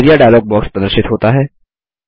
area dialog box प्रदर्शित होता है